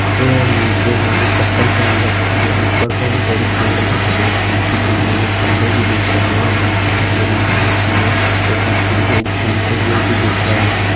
यह नीचे उन्होंने चप्पल पहन रखी है ऊपर बड़े -बड़े पेड़ लगे हुए हैं जो पीछे बिजली के खम्बे भी दिख रहे हैं और नीचे हरी - हरी घास भी है और पीछे लोग घूमते हुए भी दिख रहे हैं।